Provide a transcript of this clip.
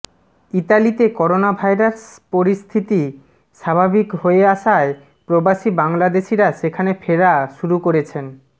ইতালিতে করোনাভাইরাস পরিস্থিত স্বাভাবিক হয়ে আসায় প্রবাসী বাংলাদেশিরা সেখানে ফেরা শুরু করেছেন